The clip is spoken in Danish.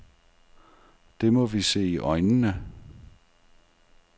Det må vi se i øjnene.